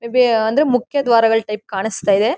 ಎಬೇ ಅಂದ್ರೆ ಮುಖ್ಯ ದ್ವಾರಗಳ ಟೈಪ್ ಕಾಣಿಸ್ತಾ ಇದೆ.